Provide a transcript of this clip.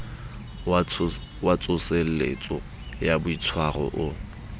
wa tsoseletso ya boitshwaro o